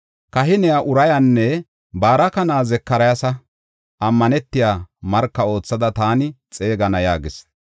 Kahiniya Urayanne Baraka na7aa Zakariyasa ammanetiya marka oothada taani xeegana” yaagis.